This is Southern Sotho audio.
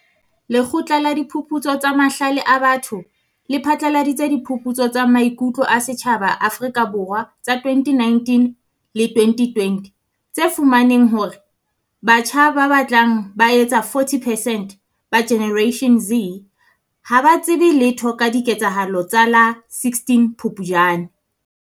Lekgotla la Diphuputso tsa Mahlale a Batho le phatlaladitse Diphuputso tsa Maiku tlo a Setjhaba Afrika Borwa tsa 2019 le 2020 tse fumaneng hore batjha ba batlang ba etsa 40 percent ba Generation Z ha ba tsebe letho ka diketsahalo tsa la 16 Phupjane.